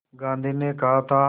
गांधी ने कहा था